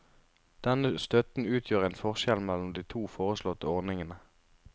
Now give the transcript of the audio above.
Denne støtten utgjør en forskjell mellom de to foreslåtte ordningene.